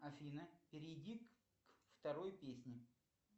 афина перейди к второй песне